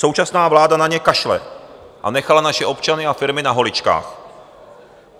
Současná vláda na ně kašle a nechala naše občany a firmy na holičkách.